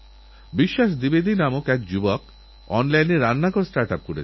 আমারপ্রিয় দেশবাসী কিছুদিন আগে আমার দক্ষিণ আফ্রিকা যাওয়ার সুযোগ হয়েছিল